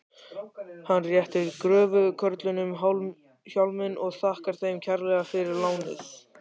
Hann réttir gröfukörlunum hjálminn og þakkar þeim kærlega fyrir lánið.